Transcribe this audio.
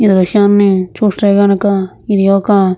ఈ దృశ్యాన్ని చూస్తే గనుక ఇది ఒక --